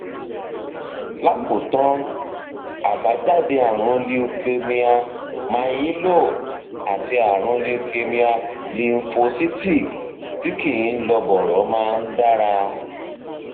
lákòótán àbájáde ààrùn leukemia myeloid àti ààrùn leukemia lymphocytic tí kìí lọ bọrọ máa ń dára